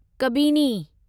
Kabini